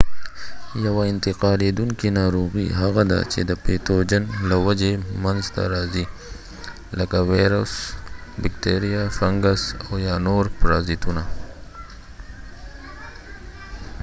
یوه انتقالیدونکې ناروغي هغه ده چې د پتوجن له وجې منځته راځې لکه ویروس بکتریا فنګس او یا نور پرازیتونه